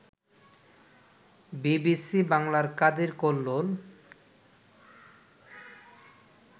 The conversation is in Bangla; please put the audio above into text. বিবিসি বাংলার কাদির কল্লোল